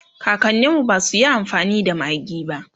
kakaninmu basuyi amfani da maggi ba